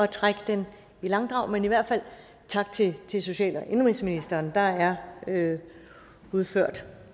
trække tiden i langdrag men i hvert fald tak til til social og indenrigsministeren der er udført